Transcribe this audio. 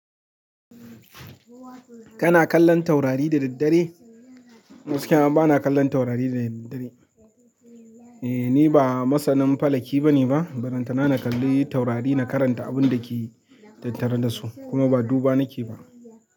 Kana kallon taurari da daddare? Gaskiya bana kallon taurari da daddare. Eh ni ba masanin falaki bane ba, ballantana na kalli taurari na karanta abinda keyi tattare dasu kuma ba duba nake ba.